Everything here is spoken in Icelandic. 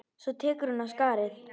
Svo tekur hún af skarið.